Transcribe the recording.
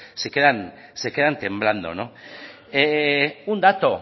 se quedan temblando un dato